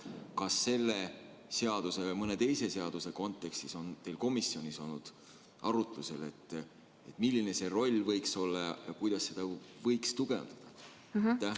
Kas selle seaduse või mõne teise seaduse kontekstis on teil komisjonis olnud arutlusel, milline see roll võiks olla ja kuidas seda võiks tugevdada?